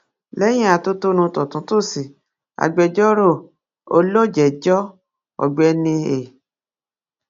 lẹyìn atótónu tọ̀túntòsì agbẹjọ́rò olójẹjọ́ ọ̀gbẹ́ni e